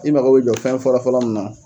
I mako be jɔ fɛn fɔlɔ fɔlɔ mun na.